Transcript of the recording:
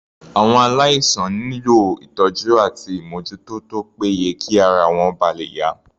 Àwọn aláìsàn nílò ìtọ́jú àti ìmójútó tó pé ye kí ara wọn ba lè yá.